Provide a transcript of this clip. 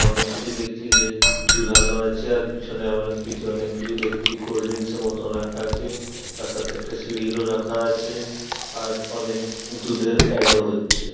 অনেক কিছুই দেখছি যে ঝুলানো আছে | আর পিছনে আমরা ফ্রিজে অনেক কিছু দেখছি কোল্ড -ড্রিঙ্কসের মতন রাখা আছে | তার সাথে একটা সিঁড়িরও রাখা আছে | আর অনেক দুধের অ্যাড ও হচ্ছে।